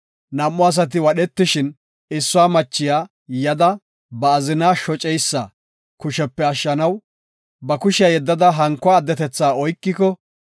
Nam7u asati wadhetishin, issuwa machiya yada, ba azinaa shoceysa kushepe ashshanaw, ba kushiya yeddada hankuwa addetetha oykiko,